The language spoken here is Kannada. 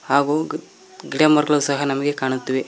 ಹಾಗೂ ಗಿಡಮರಗಳು ಸಹ ನಮಗೆ ಕಾಣುತ್ತಿವೆ.